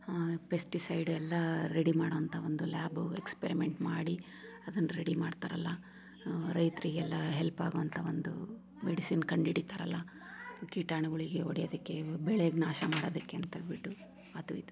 ಆ ಪೆಸ್ಟಿಸೈಡ್ ಎಲ್ಲಾ ರೆಡಿ ಮಾಡುವಂತಹ ಒಂದು ಲ್ಯಾಬು ಎಕ್ಸ್ಪರಿಮೆಂಟ್ ಮಾಡಿ ಅದನ್ನ ರೆಡಿ ಮಾಡ್ತಾರಲ್ಲ ಅಹ್ ರೈತರಿಗೆಲ್ಲ ಹೆಲ್ಪ್ ಆಗುವಂತಹ ಒಂದು ಮೆಡಿಸನ್ ಕಂಡುಹಿಡಿತಾರಲ್ಲ ಕೀಟಾನುಗಳಿಗೆ ಹೊಡೆಯು‌ವುದಕ್ಕೆ ಬೆಳೆಗೆ ನಾಶ ಮಾಡೋದಕ್ಕೆ ಅಂತ ಹೇಳ್ಬಿಟ್ಟು ಅದು ಇದು.